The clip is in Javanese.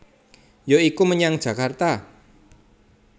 Ya iku menyang Jakarta